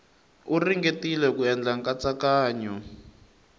u ringetile ku endla nkatsakanyo